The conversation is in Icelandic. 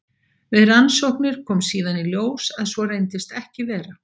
Við rannsóknir kom síðan í ljós að svo reyndist ekki vera.